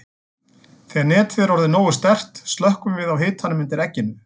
Þegar netið er orðið nógu sterkt slökkvum við á hitanum undir egginu.